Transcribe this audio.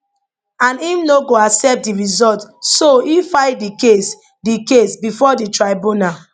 and im no go accept di results so e file di case di case bifor di tribunal